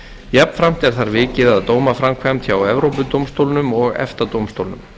jafnframt er þar vikið að dómaframkvæmd hjá evrópudómstólnum og efta dómstólnum